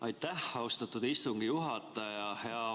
Aitäh, austatud istungi juhataja!